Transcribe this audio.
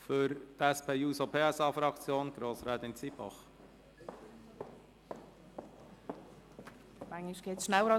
Für die SP-JUSO-PSA-Fraktion hat Grossrätin Zybach das Wort.